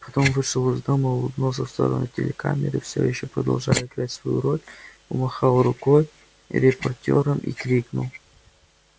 потом вышел из дома улыбнулся в сторону телекамеры всё ещё продолжая играть свою роль помахал рукой репортёрам и крикнул